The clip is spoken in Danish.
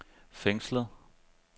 fængslet